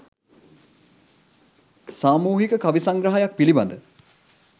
සාමූහික කවි සංග්‍රහයක් පිළිබඳ